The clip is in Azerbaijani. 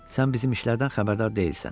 Sən bizim işlərdən xəbərdar deyilsən.